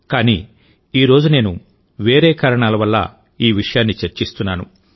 కానీ ఈ రోజు నేను వేరే కారణాల వల్ల ఈ విషయాన్ని చర్చిస్తున్నాను